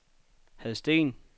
Hadsten